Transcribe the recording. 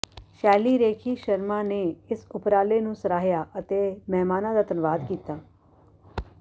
ਸ਼ੈਲੀ ਰੇਖੀ ਸ਼ਰਮਾ ਨੇ ਇਸ ਉਪਰਾਲੇ ਨੂੰ ਸਰਾਹਿਆ ਅਤੇ ਮਹਿਮਾਨਾਂ ਦਾ ਧੰਨਵਾਦ ਕੀਤਾ